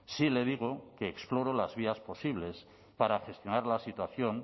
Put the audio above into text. sí le digo que exploro las vías posibles para gestionar la situación